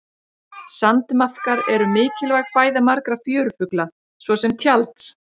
Sandmaðkar eru mikilvæg fæða margra fjörufugla svo sem tjalds.